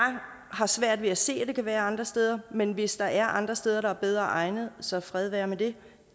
har svært ved at se at det kan være andre steder men hvis der er andre steder der er bedre egnet så fred være med det